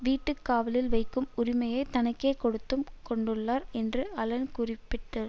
வீட்டுக்காவலில் வைக்கும் உரிமையைத் தனக்கே கொடுத்து கொண்டுள்ளார் என்று அலன் குறிப்பிட்டார்